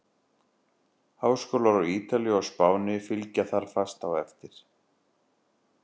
Háskólar á Ítalíu og Spáni fylgja þar fast á eftir.